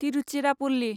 Tiruchirappalli